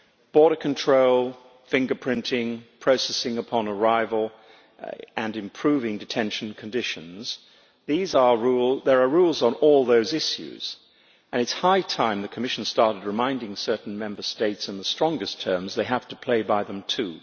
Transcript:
Border control, fingerprinting, processing upon arrival, and improving detention conditions there are rules on all those issues, and it is high time the Commission started reminding certain Member States, in the strongest terms, that they have to play by them too.